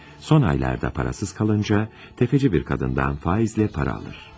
Son aylarda parasız kalınca, tefeci bir kadından faizle para alır.